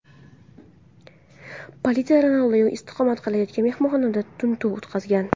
Politsiya Ronaldinyo istiqomat qilayotgan mehmonxonada tintuv o‘tkazgan.